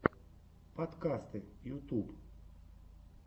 подкасты ютьюб